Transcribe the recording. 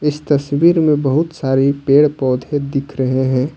इस तस्वीर में बहुत सारी पेड़ पौधे दिख रहे हैं ।